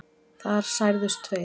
Þar særðust tveir